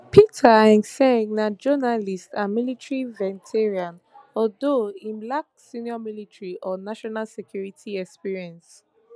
peter hegseth na journalist and military veteran although im lacks senior military or national security experience